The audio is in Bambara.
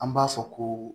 An b'a fɔ ko